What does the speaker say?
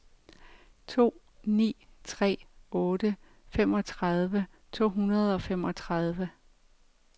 to ni tre otte femogtredive to hundrede og femogtredive